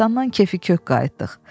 Qəbiristanlıqdan kefi kök qayıtdıq.